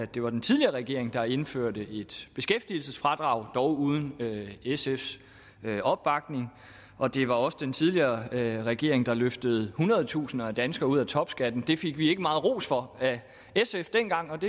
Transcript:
det var den tidligere regering der indførte et beskæftigelsesfradrag dog uden sfs opbakning og det var også den tidligere regering der løftede hundredetusinder af danskere ud af topskatten det fik vi ikke meget ros for af sf dengang